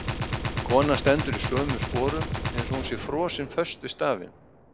Konan stendur í sömu sporum eins og hún sé frosin föst við stafinn.